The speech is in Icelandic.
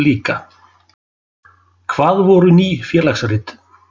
Hvað voru Ný félagsrit?